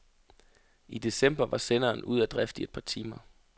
I december var senderen ude af drift i et par timer.